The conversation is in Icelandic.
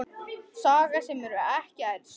Saga sem hefur ekki elst.